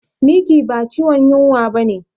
Miki ba ciwon yunwa bane